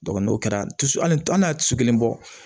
n'o kɛra su ani an y'a tiso kelen bɔ